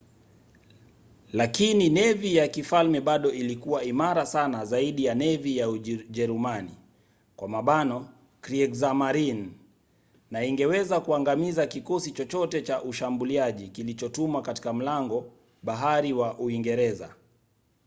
lakini nevi ya kifalme bado ilikuwa imara sana zaidi ya nevi ya ujerumani kriegsmarine na ingeweza kuangamiza kikosi chochote cha ushambuliaji kilichotumwa katika mlango-bahari wa uingereza